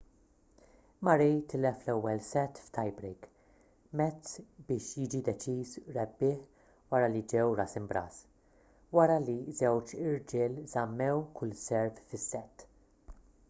murray tilef l-ewwel sett f’tie break mezz biex jiġi deċiż rebbieħ wara li ġew ras imb’ras wara li ż-żewġ irġiel żammew kull serve fis-sett